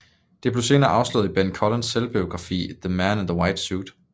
Det blev senere afsløret i Ben Collins selvbiografi The Man in the White Suit